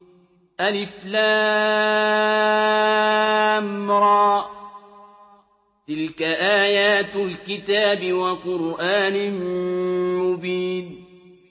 الر ۚ تِلْكَ آيَاتُ الْكِتَابِ وَقُرْآنٍ مُّبِينٍ